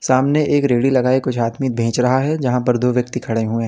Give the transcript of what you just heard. सामने एक रेड़ी लगाए कुछ आदमी बेच रहा है जहां पर दो व्यक्ति खड़े हुए हैं।